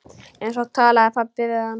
Svo talaði pabbi við hann.